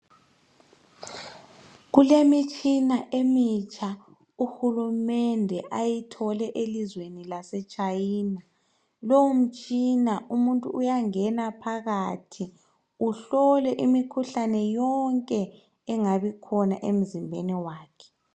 Kulemitshina emitsha uhulumende ayithole elizweni lase China. Lowomtshina umuntu uyangena phakathi kuhlolwe imikhuhlane yonke engabe ikhona emzimbeni wakhe.